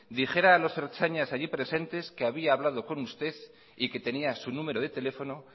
dijera a los ertzainas allí presentes que había hablado con usted y que tenía su número de teléfono